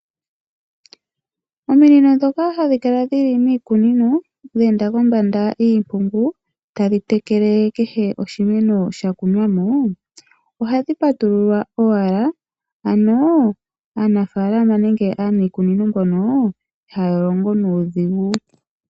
Ominino dhoka hadhi kala dhi li miikunino dheenda kombanda yiimpungu tadhi tekele kehe oshimeno sha kunwa mo ohadhi patululwa owala, kokutya aanafalama nenge aaniikunino mbyoka ihaya longo nuudhigu.